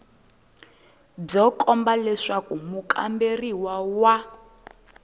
byo komba leswaku mukamberiwa wa